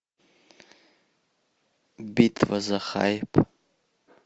битва за хайп